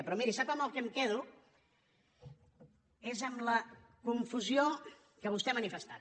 però miri sap amb el que em quedo amb la confusió que vostè ha manifestat